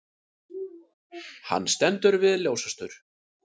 Hann stendur við ljósastaur.